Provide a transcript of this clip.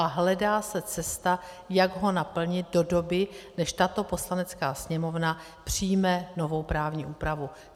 A hledá se cesta, jak ho naplnit do doby, než tato Poslanecká sněmovna přijme novou právní úpravu.